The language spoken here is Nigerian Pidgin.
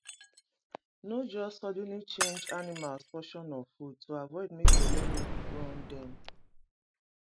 no just suddenly change animals potion of food to avoid make belle no run dem